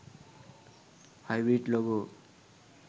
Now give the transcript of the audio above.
hybrid logo